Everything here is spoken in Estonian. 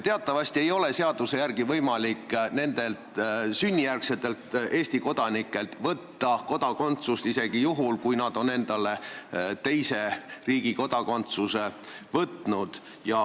Teatavasti ei ole seaduse järgi võimalik nendelt sünnijärgsetelt Eesti kodanikelt kodakondsust võtta isegi juhul, kui nad on endale teise riigi kodakondsuse võtnud.